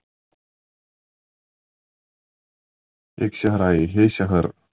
एक शहर आहे हे शहर